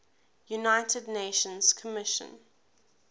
united nations commission